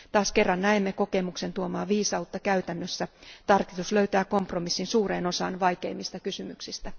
Taas kerran näemme kokemuksen tuomaa viisautta käytännössä. Tarkistus löytää kompromissin suureen osaan vaikeimmista kysymyksistä.